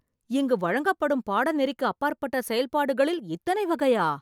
இங்கு வழங்கப்படும் பாடநெறிக்கு அப்பாற்பட்ட செயல்பாடுகளில் இத்தனை வகையா?